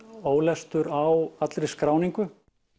ólestur á allri skráningu